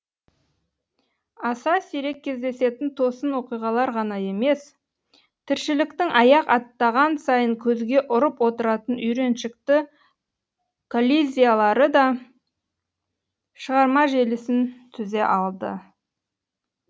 аса сирек кездесетін тосын оқиғалар ғана емес тіршіліктің аяқ аттаған сайын көзге ұрып отыратын үйреншікті коллизиялары да шығарма желісін түзе алды